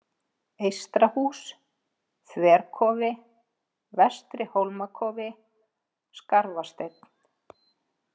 Eystrahús, Þverkofi, Vestri-Hólmakofi, Skarfasteinn